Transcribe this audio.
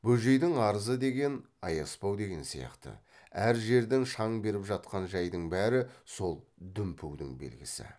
бөжейдің арызы деген аяспау деген сияқты әр жерден шаң беріп жатқан жайдың бәрі сол дүмпудің белгісі